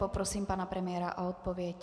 Prosím pana premiéra o odpověď.